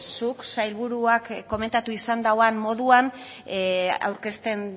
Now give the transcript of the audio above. zuk sailburuak komentatu izan duen moduan aurkezten